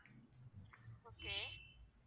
okay